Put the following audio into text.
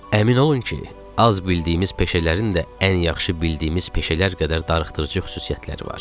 Əmin olun ki, az bildiyimiz peşələrin də ən yaxşı bildiyimiz peşələr qədər darıxdırıcı xüsusiyyətləri var.